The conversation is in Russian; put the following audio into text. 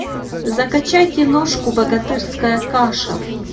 закачай киношку богатырская каша